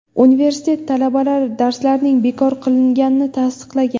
Universitet talabalari darslarning bekor qilinganini tasdiqlagan.